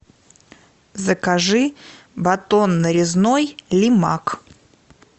закажи батон нарезной лимак